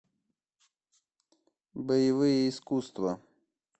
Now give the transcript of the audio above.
боевые искусства